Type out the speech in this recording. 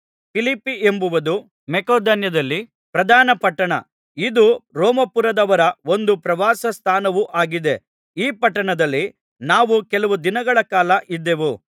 ಫಿಲಿಪ್ಪಿ ಎಂಬುದು ಮಕೆದೋನ್ಯದಲ್ಲಿ ಪ್ರಧಾನ ಪಟ್ಟಣ ಇದು ರೋಮಾಪುರದವರ ಒಂದು ಪ್ರವಾಸ ಸ್ಥಾನವೂ ಆಗಿದೆ ಈ ಪಟ್ಟಣದಲ್ಲಿ ನಾವು ಕೆಲವು ದಿನಗಳ ಕಾಲ ಇದ್ದೆವು